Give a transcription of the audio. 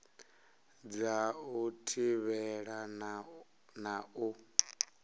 dza u thivhela na u